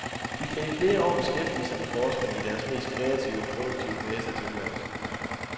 De kan i flere år beskæftige sig med forskning i deres mest kreative og produktive fase af tilværelsen.